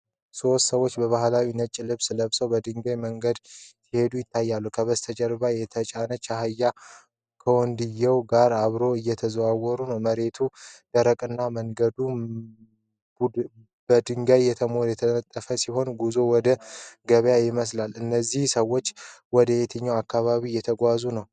ሦስት ሰዎች በባህላዊ ነጭ ልብስ ለብሰው በድንጋይ መንገድ ሲሄዱ ይታያሉ። ከበስተጀርባ የተጫነ አህያ ከወንድየው ጋር አብሮ እየተጓዘ ነው። መሬቱ ደረቅና መንገዱ በድንጋይ የተነጠፈ ሲሆን ጉዞው ወደ ገበያ ይመስላል። እነዚህ ሰዎች ወደ የትኛው አካባቢ እየተጓዙ ይሆን?